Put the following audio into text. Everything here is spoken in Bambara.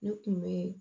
Ne kun bɛ